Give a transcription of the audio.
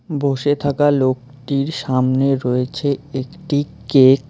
বসে থাকা লোকটির সামনে রয়েছে একটি কেক ।